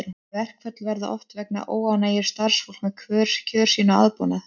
Verkföll verða oft vegna óánægju starfsfólks með kjör sín og aðbúnað.